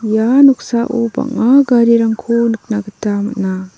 ia noksao bang·a garirangko nikna gita man·a.